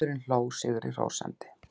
Maðurinn hló sigri hrósandi.